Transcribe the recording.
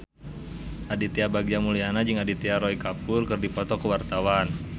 Aditya Bagja Mulyana jeung Aditya Roy Kapoor keur dipoto ku wartawan